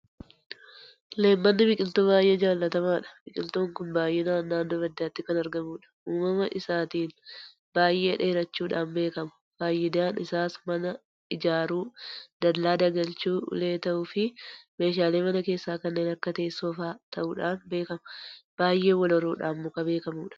Leemmanni biqiltuu baay'ee jaalatamaadha. Biqiltuun kun baay'inaan naannoo baddaatti kan argamudha. Uumama isaatiin baay'ee dheerachuudhaan beekama. Faayidaan isaas mana ijaaruu, Dallaa dagalchuu, Ulee ta'uufi meeshaalee mana keessaa kan akka teessoo fa'aa ta'uudhaan beekama. Baay'ee walhoruudhaan muka beekamudha.